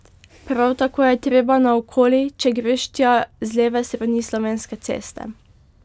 Prav tako je treba naokoli, če greš tja z leve strani Slovenske ceste.